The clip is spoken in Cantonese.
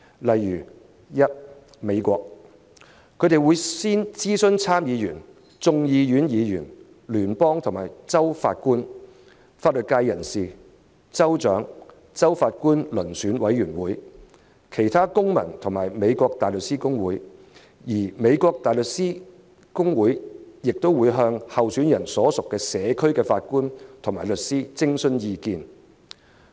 在美國，法官候選人須諮詢參眾兩院議員、聯邦和州法官、法律界人士、州長、州法官遴選委員會、其他公民和美國大律師公會的意見，而美國大律師公會亦會向候選人所屬社區的法官及律師徵詢意見。